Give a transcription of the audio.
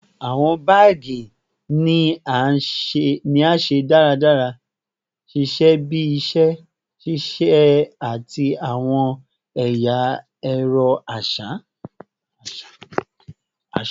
Awọn baagi ni a ṣe daradara, ṣiṣẹ bi iṣẹ ṣiṣe ati awọn ẹya ẹrọ aṣa